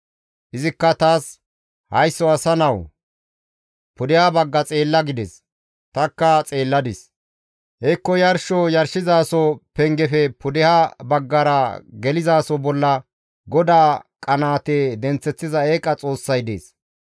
Izikka taas, «Haysso asa nawu! Pudeha bagga xeella» gides. Tanikka xeelladis; hekko yarsho yarshizaso pengefe pudeha baggara gelizaso bolla GODAA qanaate denththeththiza eeqa xoossay dees.